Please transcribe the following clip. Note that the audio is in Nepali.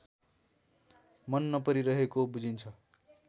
मन नपरिरहेको बुझिन्छ